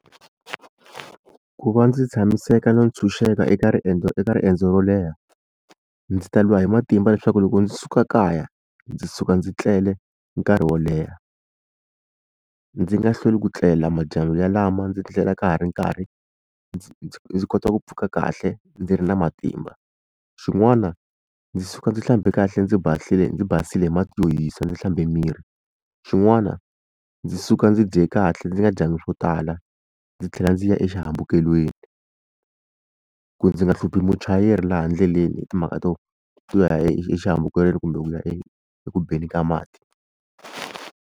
Ku va ndzi tshamiseka no ntshunxeka eka riendzo eka riendzo ro leha ndzi ta lwa hi matimba leswaku loko ndzi suka kaya ndzi suka ndzi tlele nkarhi wo leha ndzi nga hlweli ku tlela madyambu yalama ndzi tlela ka ha ri nkarhi ndzi ndzi ndzi kota ku pfuka kahle ndzi ri na matimba. Xin'wana ndzi suka ndzi hlambe kahle ndzi ndzi basile hi mati yo hisa ndzi hlambe miri xin'wana ndzi suka ndzi dye kahle ndzi nga dyanga swo tala ndzi tlhela ndzi ya exihambukelweni ku ndzi nga hluphi muchayeri laha ndleleni hi timhaka to to ya exihambukelweni kumbe ku ya e ekubeni ka mati.